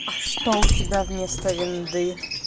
а что у тебя вместо виндовс